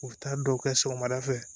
U bɛ taa dɔw kɛ sɔgɔmada fɛ